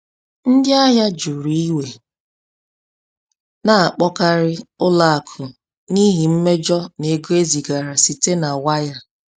Ndị ahịa juru iwe na-akpọkarị ụlọ akụ n’ihi mmejọ n’ego e zigara site na waya.